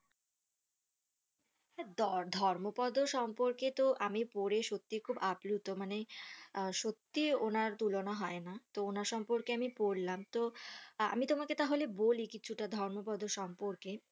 ধর্মপদের সম্পর্কে তো আমি পরে সত্যি খুব আপ্লত মানে আহ সত্যি ওনার তুলনা হয়না ওনার সম্পর্কে আমি পড়লাম তো আহ আমি তোমাকে তাহলে বলি কিছুটা ধর্মপদের সম্পর্কে